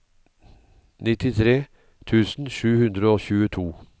nittitre tusen sju hundre og tjueto